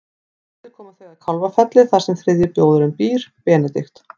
Um kvöldið koma þau að Kálfafelli þar sem þriðji bróðirinn býr, Benedikt.